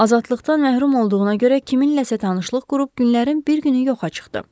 Azadlıqdan məhrum olduğuna görə kiminləsə tanışlıq qrup günlərin bir günü yoxa çıxdı.